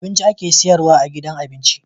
abinci ake siyarwa a gidan abinci